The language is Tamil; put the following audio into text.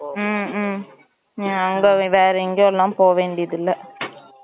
ம்ம் ஆம் baby வேற எங்கையும் போவேண்டியது இல்லை